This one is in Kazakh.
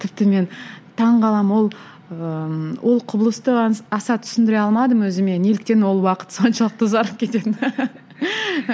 тіпті мен таңғаламын ол ыыы ол құбылысты аса түсіндіре алмадым өзіме неліктен ол уақыт соншалықты ұзарып кететінін